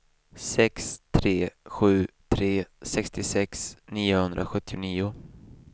sex tre sju tre sextiosex niohundrasjuttionio